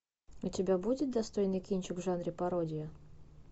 у тебя будет достойный кинчик в жанре пародия